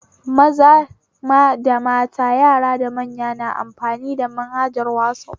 Maza da mata, yara da manya na amfani da manhajar wazaf